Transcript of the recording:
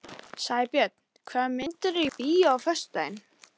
Sæbjörn, hvaða myndir eru í bíó á föstudaginn?